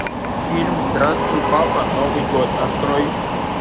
фильм здравствуй папа новый год открой